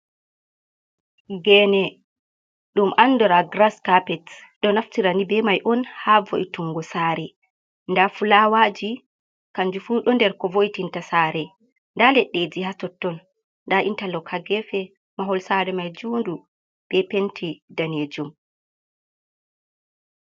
geene ɗum anndora grass carpet ɗo naftire nii bee mai on haa wo’itungo saare nda fulaawaji kannjum fuu ɗo nder kowo'itinta saare nda leɗɗe haa totton nda intalo haa geefe mahol saare mai juundu bee penti daneejum